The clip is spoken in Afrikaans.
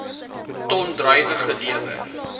ton druiwe gelewer